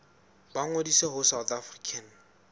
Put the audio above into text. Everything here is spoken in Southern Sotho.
ba ngodise ho south african